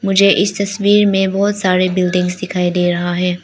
मुझे इस तस्वीर में बहोत सारे बिल्डिंग्स दिखाई दे रहा है।